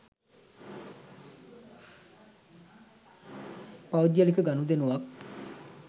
පෞද්ගලික ගනුදෙනුවක්